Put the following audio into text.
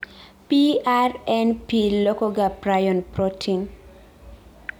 PRNP lokoga prion protein